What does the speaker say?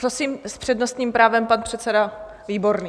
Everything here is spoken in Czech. Prosím, s přednostním právem pan předseda Výborný...